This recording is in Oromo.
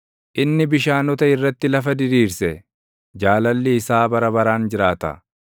inni bishaanota irratti lafa diriirse; Jaalalli isaa bara baraan jiraata.